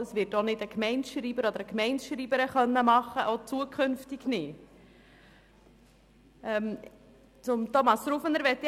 Das kann auch zukünftig nicht eine Gemeindeschreiberin oder ein Gemeindeschreiber tun.